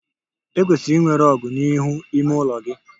E kwesịrị inwe rug n'ihu ime ụlọ gị